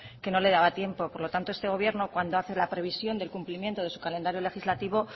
que no le daba tiempo por lo tanto este gobierno cuando hace la previsión del cumplimiento de su calendario legislativo